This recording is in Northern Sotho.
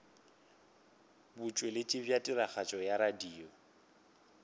botšweletši bja tiragatšo ya radio